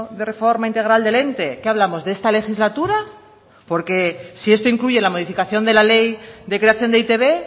de reforma integral del ente qué hablamos de esta legislatura porque si esto incluye la modificación de la ley de creación de e i te be